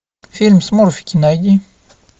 фильм смурфики найди